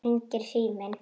Þá hringir síminn.